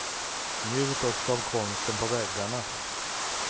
Njut också av konsten på väggarna.